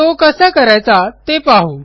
तो कसा करायचा ते पाहू